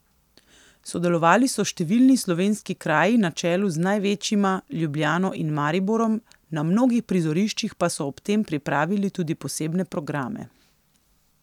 Sodelovali so številni slovenski kraji na čelu z največjima, Ljubljano in Mariborom, na mnogih prizoriščih pa so ob tem pripravili tudi posebne programe.